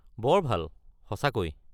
বৰ ভাল, সঁচাকৈ।